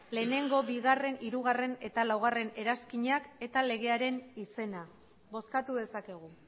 bat bi hiru eta laugarrena eranskinak eta legearen izena bozkatu dezakegu